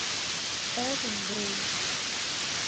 элвин грей